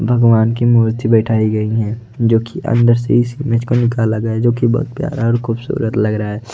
भगवान की मूर्ति बैठाई गई हैं जो की अंदर से इस इमेज को निकाला गया है जो की बहुत प्यारा और खूबसूरत लग रहा है।